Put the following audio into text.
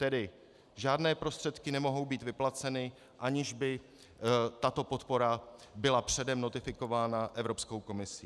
Tedy žádné prostředky nemohou být vyplaceny, aniž by tato podpora byla předem notifikována Evropskou komisí.